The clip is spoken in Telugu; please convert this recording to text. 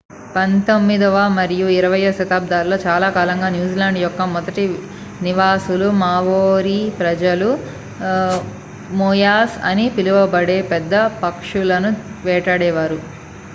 పంతొమ్మిదవ మరియు ఇరవయ్యో శతాబ్దాలలో చాలాకాలంగా న్యూజిలాండ్ యొక్క మొదటి నివాసులు మావోరీ ప్రజలు మోయాస్ అని పిలువబడే పెద్ద పక్షులను వేటాడేవారు